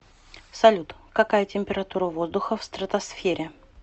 салют какая температура воздуха в стратосфере